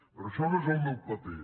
però això no és el meu paper